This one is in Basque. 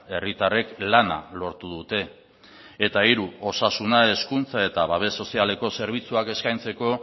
herritarrek lana lortu dute eta hiru osasuna hezkuntza eta babes sozialeko zerbitzuak eskaintzeko